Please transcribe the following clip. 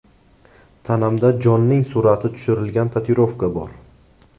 Tanamda Jonning surati tushirilgan tatuirovka bor.